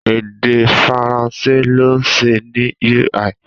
Èdè Faransé ló ṣe ní UI